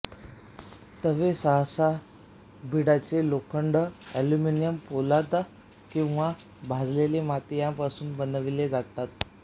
तवे सहसा बिडाचे लोखंड एल्युमिनियम पोलाद किंवा भाजलेली माती यांपासून बनवले जातात